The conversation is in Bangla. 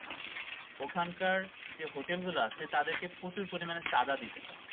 ওখানকার যে হোটেল গুলা আছে তাদেরকে প্রচুর পরিমান চাঁদা দিতে হয়